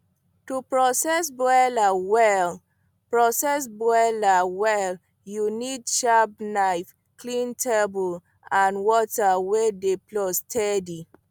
to process broiler well process broiler well you need sharp knife clean table and water wey dey flow steady